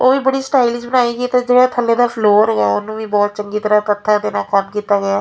ਉਹ ਬੜੀ ਸਟਾਇਲਿਸ਼ ਬਣਾਈ ਗਈ ਆ ਤੇ ਜਿਹੜਾ ਥੱਲੇ ਦਾ ਫਲੋਰ ਹੈਗਾ ਉਹਨੂੰ ਵੀ ਬਹੁਤ ਚੰਗੀ ਤਰ੍ਹਾਂ ਪੱਥਰ ਦੇ ਨਾਲ ਕੰਮ ਕੀਤਾ ਗਿਆ --